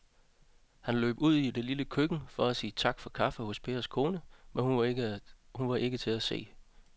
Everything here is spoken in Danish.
Han løb ud i det lille køkken for at sige tak for kaffe til Pers kone, men hun var ikke til at se.